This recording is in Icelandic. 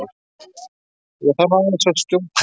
ÉG ÞARF AÐEINS AÐ SKJÓTAST!